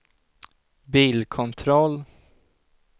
bilkontroll